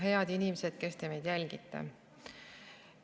Head inimesed, kes te meid jälgite!